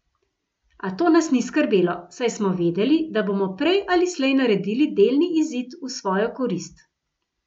A to nas ni skrbelo, saj smo vedeli, da bomo prej ali slej naredili delni izid v svojo korist.